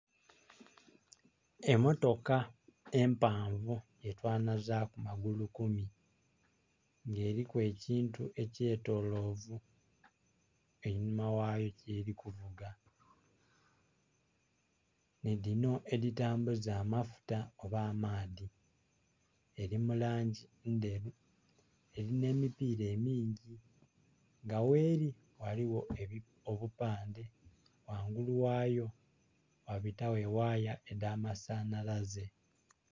Emotoka empavu ye twanhazaku magulu kumi nga eriku ekintu ekye tolovu einhuma ghayo yerikuvuga nhi dhino edhitambuza amafuta oba amaadhi eriyo mulangi endheru erina emipira emingi nga gheri ghaligho obupandhe ghangulu ghayo ghabitagho eghaya edha masanhalaze.